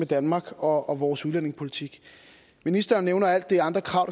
danmark og vores udlændingepolitik ministeren nævner alle de andre krav